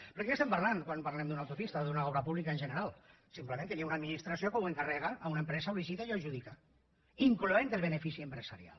perquè de què estem parlant quan parlem d’una autopista o d’una obra pública en general simplement que hi ha una administració que ho encarrega a una empresa ho licita i adjudica incloent el benefici empresarial